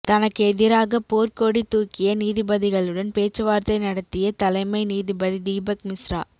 தனக்கு எதிராக போர்க்கொடி தூக்கிய நீதிபதிகளுடன் பேச்சுவார்த்தை நடத்திய தலைமை நீதிபதி தீபக் மிஸ்ரா